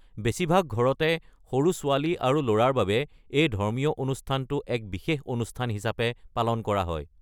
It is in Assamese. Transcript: বেছিভাগ ঘৰতে, সৰু ছোৱালী আৰু ল’ৰাৰ বাবে এই ধৰ্মীয় অনুষ্ঠানটো এক বিশেষ অনুষ্ঠান হিচাপে পালন কৰা হয়।